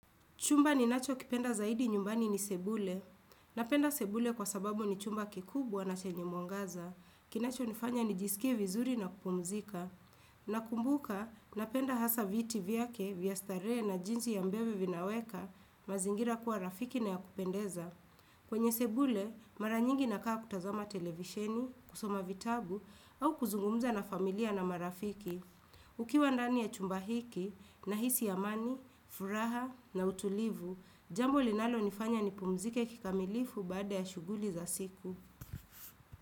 Chumba ninachokipenda zaidi nyumbani ni sebule. Napenda sebule kwa sababu ni chumba kikubwa na chenye mwangaza. Kinachonifanya nijisikie vizuri na kupumzika. Nakumbuka, napenda hasaa viti vyake vya starehe na jinsi ambavyo vinaweka, mazingira kuwa rafiki na ya kupendeza. Kwenye sebule, mara nyingi nakaa kutazama televisheni, kusoma vitabu au kuzungumza na familia na marafiki. Ukiwa ndani ya chumba hiki nahisi amani, furaha na utulivu, jambo linalonifanya nipumzike kikamilifu baada ya shughuli za siku.